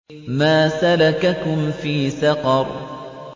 مَا سَلَكَكُمْ فِي سَقَرَ